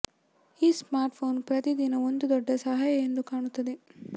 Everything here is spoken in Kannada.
ಈ ಸ್ಮಾರ್ಟ್ಫೋನ್ ಪ್ರತಿ ದಿನ ಒಂದು ದೊಡ್ಡ ಸಹಾಯ ಎಂದು ಕಾಣಿಸುತ್ತದೆ